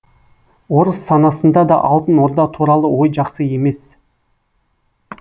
орыс санасында да алтын орда туралы ой жақсы емес